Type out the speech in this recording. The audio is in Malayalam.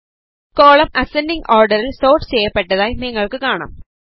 കോളം അസൻഡിംഗ് ഓർഡറിൽ സോർട്ട് ചെയ്യപ്പെട്ടതായി നിങ്ങൾക്ക് കാണാം